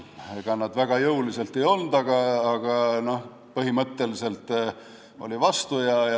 Ega nad väga jõuliselt vastu ei olnud, aga, noh, olid põhimõtteliselt vastu.